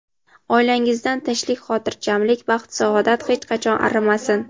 Oilangizdan tinchlik-xotirjamlik, baxt-saodat hech qachon arimasin!.